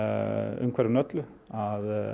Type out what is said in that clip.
umhverfinu öllu að